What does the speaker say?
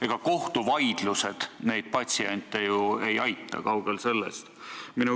Ega kohtuvaidlused neid patsiente ju ei aita, kaugel sellest.